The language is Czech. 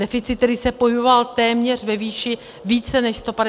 Deficit, který se pohyboval téměř ve výši více než 150 miliard.